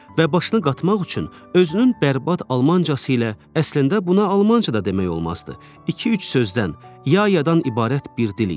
Və başını qatmaq üçün özünün bərbad almancası ilə əslində buna almanca da demək olmazdı. İki-üç sözdən, ya-yadan ibarət bir dil idi.